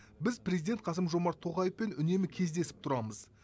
біз президент қасым жомарт тоқаевпен үнемі кездесіп тұрамыз